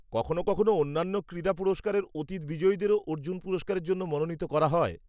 -কখনো কখনো অন্যান্য ক্রীড়া পুরস্কারের অতীত বিজয়ীদেরও অর্জুন পুরস্কারের জন্য মনোনীত করা হয়।